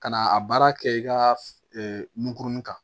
Ka na a baara kɛ i ka nunkurunin kan